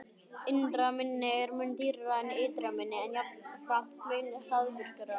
Innra minni er mun dýrara en ytra minni, en jafnframt mun hraðvirkara.